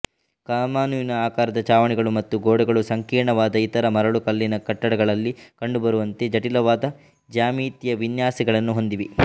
ಕಮಾನಿನ ಆಕಾರದ ಚಾವಣಿಗಳು ಮತ್ತು ಗೋಡೆಗಳು ಸಂಕೀರ್ಣದ ಇತರ ಮರಳುಕಲ್ಲಿನ ಕಟ್ಟಡಗಳಲ್ಲಿ ಕಂಡುಬರುವಂತೆ ಜಟಿಲವಾದ ಜ್ಯಾಮಿತಿಯ ವಿನ್ಯಾಸಗಳನ್ನು ಹೊಂದಿವೆ